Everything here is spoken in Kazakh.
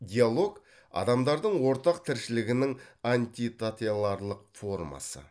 диалог адамдардың ортақ тіршілігінің формасы